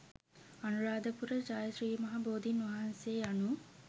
අනුරාධපුර ජය ශ්‍රී මහා බෝධීන් වහන්සේ යනු